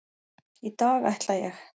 Í dag ætla ég.